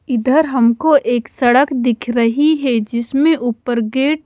इधर हमको एक सड़क दिख रही है जिसमे ऊपर गेट ।